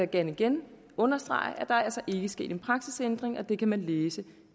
gerne igen understrege at der altså ikke er sket en praksisændring og det kan man læse